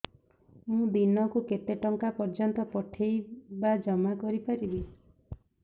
ମୁ ଦିନକୁ କେତେ ଟଙ୍କା ପର୍ଯ୍ୟନ୍ତ ପଠେଇ ବା ଜମା କରି ପାରିବି